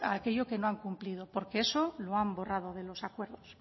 aquello que no han cumplido porque eso lo han borrado de los acuerdos